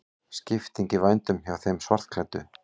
Skipting í vændum hjá þeim svartklæddu.